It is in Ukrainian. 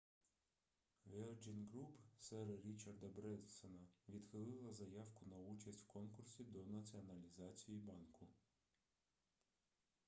virgin group сера річарда бренсона відхилила заявку на участь в конкурсі до націоналізації банку